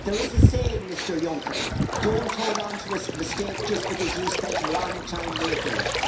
There is a saying, Mr Juncker, don't hold on to a mistake just because you spent a long time making it'.